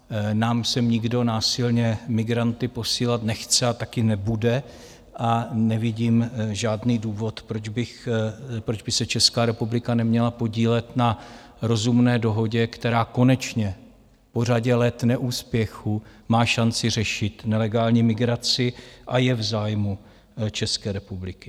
Nám sem nikdo násilně migranty posílat nechce a taky nebude a nevidím žádný důvod, proč by se Česká republika neměla podílet na rozumné dohodě, která konečně po řadě let neúspěchů má šanci řešit nelegální migraci, a je v zájmu České republiky.